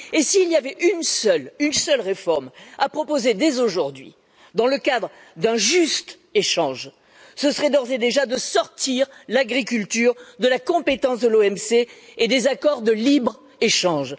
S'il y avait une seule réforme à proposer, dès aujourd'hui, dans le cadre d'un juste échange, ce serait d'ores et déjà de sortir l'agriculture de la compétence de l'OMC et des accords de libre échange.